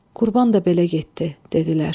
Qurban da belə getdi, dedilər.